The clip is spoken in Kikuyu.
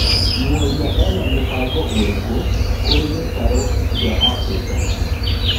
Mworia ena mũbango ũrĩkũkũrĩ gĩtarũkia Abirika?